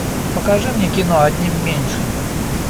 покажи мне кино одним меньше